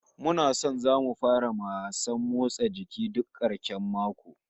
Muna nan zamu fara wasan motsa jiki duk karshen mako